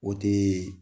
O tɛ